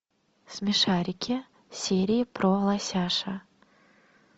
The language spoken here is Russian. смешарики серии про лосяша